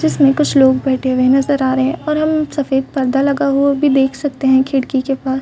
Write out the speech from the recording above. जिसमे कुछ लोग बैठे हुए नज़र आ रहे है और हम सफ़ेद पर्दा भी लगा हुआ देख सकते है खिड़की के पास--